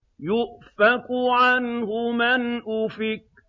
يُؤْفَكُ عَنْهُ مَنْ أُفِكَ